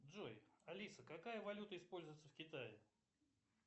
джой алиса какая валюта используется в китае